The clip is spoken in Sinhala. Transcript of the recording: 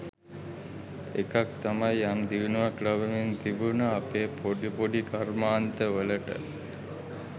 එකක් තමයි යම් දියුණුවක් ලබමින් තිබුන අපේ පොඩි පොඩි කර්මාන්ත වලට